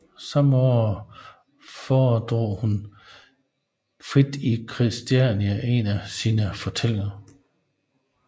Samme år foredrog hun frit i Christiania en af sine fortællinger